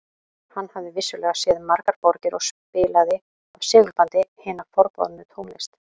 Hann hafði vissulega séð margar borgir og spilaði af segulbandi hina forboðnu tónlist